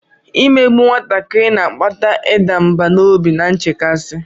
Imegbu nwatakịrị na-akpata ịda mbà n'obi na nchekasị.